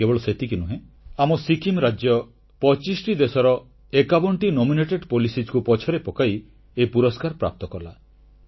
କେବଳ ସେତିକି ନୁହେଁ ଆମ ସିକ୍କିମ ରାଜ୍ୟ 25 ଦେଶର 51ଟି ମନୋନୀତ ନୀତିକୁ ପଛରେ ପକାଇ ଏ ପୁରସ୍କାର ପ୍ରାପ୍ତ କଲା